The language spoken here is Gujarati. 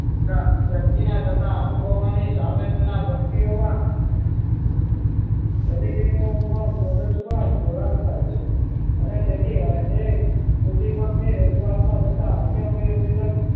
વ્યક્તિના થતા અનુભવ ના સામેથી ના પ્રત્યયોમાં પ્રતિક્રિયાઓમાં મગજમાં જોડાણ થાય છે અને તેથી એક ઉદ્દીપક ની રજૂઆતમાં થતા અન્ય ઉપેદક